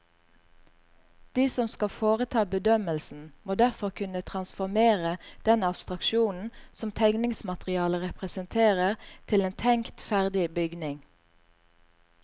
De som skal foreta bedømmelsen, må derfor kunne transformere den abstraksjonen som tegningsmaterialet representerer til en tenkt ferdig bygning.